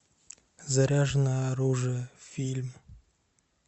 заряженное оружие фильм